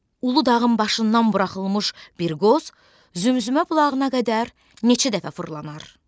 Uludağın başından buraxılmış bir qoz Zümzümə bulağına qədər neçə dəfə fırlanar?